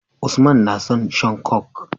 Usman na son shan coke